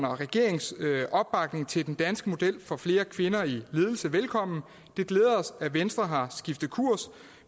regeringens opbakning til den danske model for flere kvinder i ledelsen velkommen det glæder os at venstre har skiftet kurs